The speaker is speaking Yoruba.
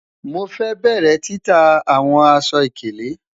Mo fẹ bẹrẹ tita awọn aṣọ-ikele